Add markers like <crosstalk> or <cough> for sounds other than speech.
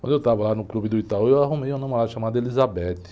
Quando eu estava lá no clube do, <unintelligible> eu arrumei uma namorada chamada. <unintelligible>